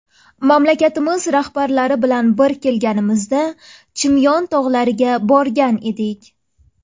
Mamlakatimiz rahbarlari bilan bir kelganimizda Chimyon tog‘lariga borgan edik.